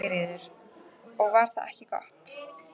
Sigríður: Og var það ekki gott?